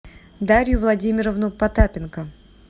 дарью владимировну потапенко